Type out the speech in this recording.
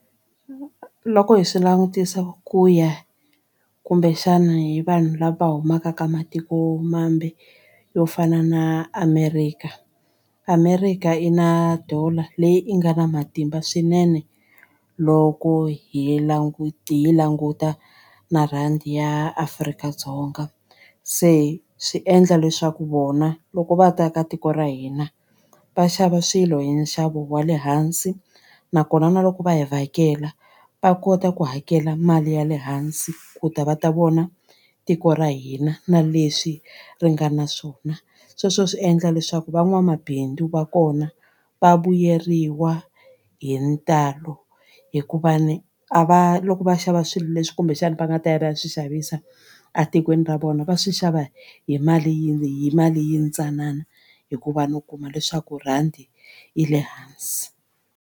Loko hi swi langutisa ku ya kumbexana hi vanhu lava humaka ka matikomambe yo fana na America. America i na dollar leyi i nga na matimba swinene loko hi languta hi yi languta na rhandi ya Afrika-Dzonga se swi endla leswaku vona loko va ta ka tiko ra hina va xava swilo hi nxavo wa le hansi nakona na loko va hi vhakela va kota ku hakela mali ya le hansi ku ta va ta vona tiko ra hina na leswi ri nga na swona sweswo swi endla leswaku van'wamabindzu va kona va vuyeriwa hi ntalo hikuva ni a va loko va xava swilo leswi kumbexana va nga ta ya va ya swi xavisa etikweni ra vona va swi xava hi mali yi hi mali yintsanana hikuva no kuma leswaku rhandi yi le hansi.